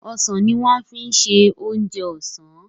osàn ní wan fí ṣe oje osán.